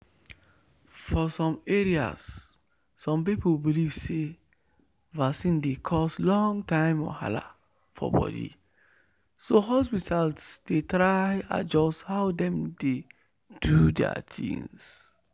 for some areas some people believe say vaccine dey cause long-term wahala for body so hospitals dey try adjust how dem dey do their things.